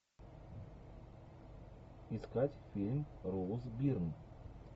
искать фильм роуз бирн